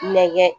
Nɛgɛ